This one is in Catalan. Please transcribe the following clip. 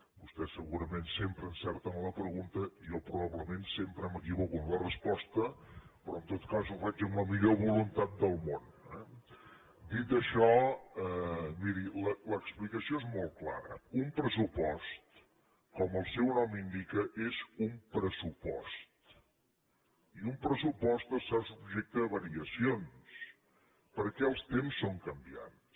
vostès segurament sempre encerten la pregunta i jo probablement sempre m’equivoco en la resposta però en tot cas ho faig amb la millor voluntat del món eh dit això miri l’explicació és molt clara un pressupost com el seu nom indica és un pressupost i un pressupost està subjecte a variacions perquè els temps són canviants